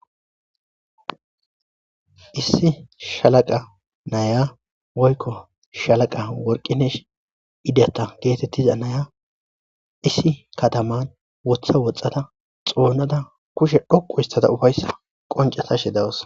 Issi shalaqa naya wolko shalaqa worqinesh idata getetiza naya issi kataman wotha woxxata xoonada kushe dhoqu istata ufayssa qoncatashe dawassa